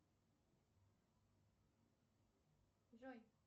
джой